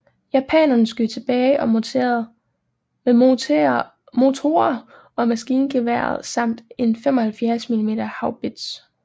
Japanerne skød tilbage med morterer og maskingeværer samt en 75 mm haubits